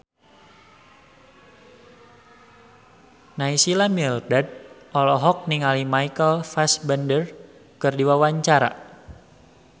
Naysila Mirdad olohok ningali Michael Fassbender keur diwawancara